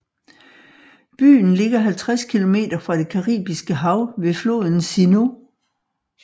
Byen ligger 50 km fra det Caribiske hav ved floden Sinú